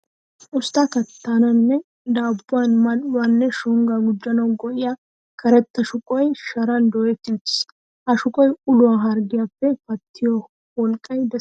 Ustta kattaninne daabbuwan mal"uwa nne shonggaa gujjanawu go''iya karetta shuqoy sharan dooyetti uttiis. Ha shuqoy ulo harggiyappe pattiyo wolqqay de'es.